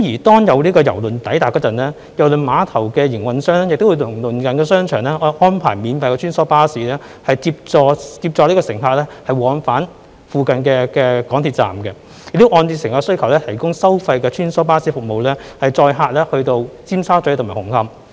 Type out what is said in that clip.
當有郵輪抵達時，郵輪碼頭的營運商會與鄰近的商場安排免費穿梭巴士，接載乘客往返附近的港鐵站，亦會按照乘客的需求提供收費的穿梭巴士服務，載客到尖沙咀和紅磡。